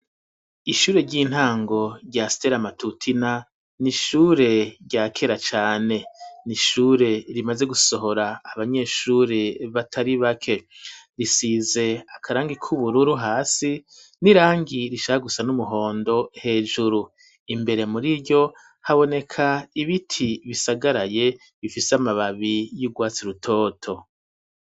Ishure ry'intango rya stela amatutina ni ishure rya kera cane ni ishure rimaze gusohora abanyeshure batari bake risize akarangi k'ubururu hasi ni rangi rishaha gusa n'umuhondo hejuru imbere muri ryo haboneka ibi iti bisagaraye bifise amababi y'urwatsi rutoto.